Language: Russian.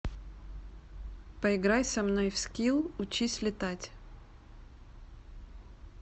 поиграй со мной в скил учись летать